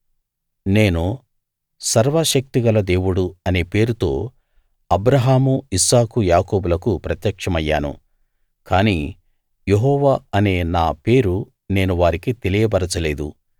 నేను సర్వశక్తి గల దేవుడు అనే పేరుతో అబ్రాహాము ఇస్సాకు యాకోబులకు ప్రత్యక్షమయ్యాను కాని యెహోవా అనే నా పేరు నేను వారికి తెలియబరచలేదు